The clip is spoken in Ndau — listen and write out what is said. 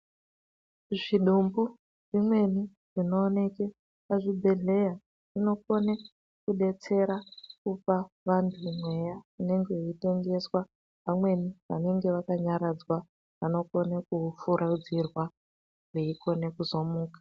Zvidumbu zvimweni zvinooneka pazvibhedhleya zvinokona kudetsera kupa vantu mweya inenge yeitengeswa . Vamweni vanenge vakanyaradzwa vanokona kufuridzirwa veikona kuzomuka.